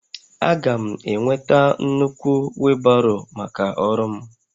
Aga m enweta nnukwu wheelbarrow maka ọrụ m